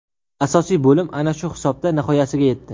Asosiy bo‘lim ana shu hisobda nihoyasiga yetdi.